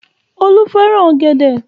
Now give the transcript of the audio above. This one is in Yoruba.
Olú fẹ́ràn ọ̀gẹ̀dẹ̀.